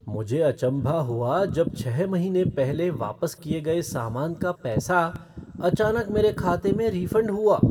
मुझे अचम्भा हुआ जब छः महीने पहले वापस किए गए सामान का पैसा अचानक मेरे खाते में रिफ़ंड हुआ।